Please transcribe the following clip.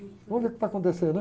Vamos ver o que vai acontecer, né?